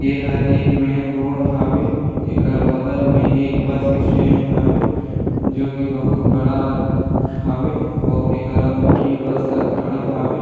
ये हर एक मेन रोड हावे एकर बगल में एक बस स्टैंड हावे जो की बहुत बड़ा हावे आऊ एकरा दू ठी बस ह खड़े हावे।